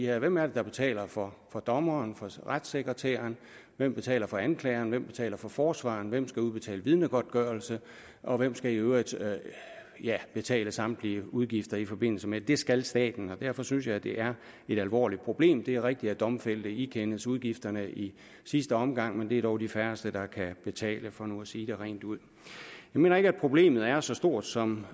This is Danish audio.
her hvem er det der betaler for dommeren og for retssekretæren hvem betaler for anklageren hvem betaler for forsvareren hvem skal udbetale vidnegodtgørelse og hvem skal i øvrigt ja betale samtlige udgifter i forbindelse med det det skal staten og derfor synes jeg det er et alvorligt problem det er rigtigt at domfældte ikendes udgifterne i sidste omgang men det er dog de færreste der kan betale for nu at sige det rent ud jeg mener ikke at problemet er så stort som